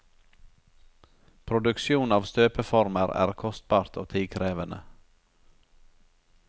Produksjon av støpeformer er kostbart og tidkrevende.